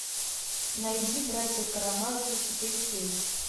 найди братья карамазовы четыре кей